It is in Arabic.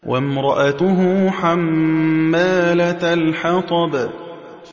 وَامْرَأَتُهُ حَمَّالَةَ الْحَطَبِ